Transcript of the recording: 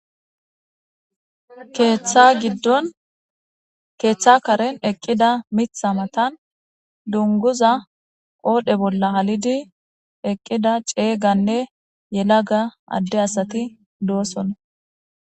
Keththa giddon keththa karen eqqida miththa mattan dungguza qodhdhe bolla hallidi eqqida cegganne yelagga ade asati dossona.